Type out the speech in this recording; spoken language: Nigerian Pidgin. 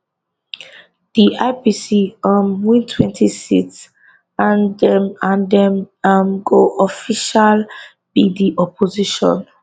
di ipc um wintwentyseats and dem and dem um go official be di opposition